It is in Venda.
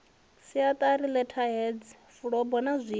siatari letterheads fulubo na zwinwe